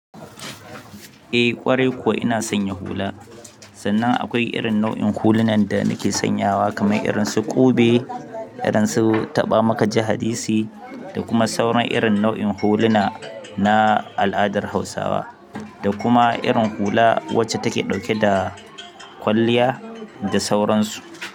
Eh ƙwarai kuwa ina sanya hula sannan akwai irin nau'in hulunan da nake sanyawa kamar irin su ƙube, irin su taɓa mu kaji hadisi da kuma sauran irin nau'in huluna na al'adar Hausawa da kuma irin hula wacce take ɗauke da kwalliya da sauransu.